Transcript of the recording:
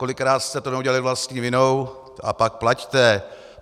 Kolikrát jste to neudělali vlastní vinou a pak plaťte.